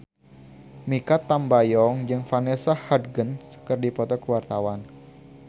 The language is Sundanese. Mikha Tambayong jeung Vanessa Hudgens keur dipoto ku wartawan